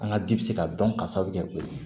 An ka di bɛ se ka dɔn ka sababu kɛ o ye